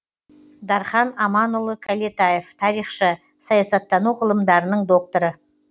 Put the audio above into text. дархан аманұлы кәлетаев тарихшы саясаттану ғылымдарының докторы